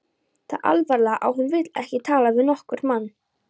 Það alvarlega að hún vill ekki tala við nokkurn mann.